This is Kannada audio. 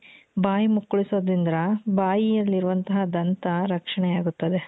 ಬಾಯಿ ಮುಕ್ಕಳಿಸೋದ್ರಿಂದ ಬಾಯಿಯಲ್ಲಿರುವಂತಹ ದಂತ ರಕ್ಷಣೆಯಾಗುತ್ತದೆ